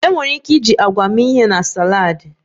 Enwere ike iji agwa mee ihe na saladi